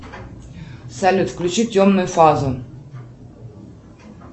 салют включи темную фазу